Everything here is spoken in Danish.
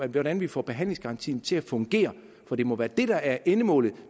hvordan vi får behandlingsgarantien til at fungere for det må være det der er endemålet